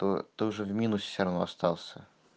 то тоже в минусе все равно остался